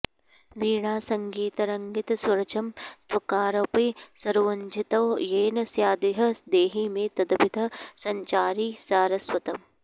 वीणासङ्गितरङ्गितस्वरचमत्कारोऽपि सारोज्झितो येन स्यादिह देहि मे तदभितः सञ्चारि सारस्वतम्